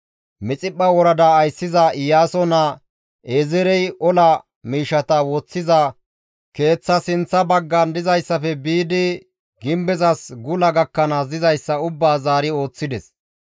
Mixiphpha worada ayssiza Iyaaso naa Ezeerey ola miishshata woththiza keeththa sinththa baggan dizayssafe biidi gimbezas gula gakkanaas dizayssa ubbaa zaari ooththides.